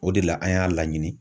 O de la an y'a laɲini